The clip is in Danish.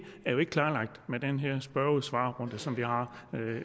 er jo ikke klarlagt med den her spørge svar runde som vi har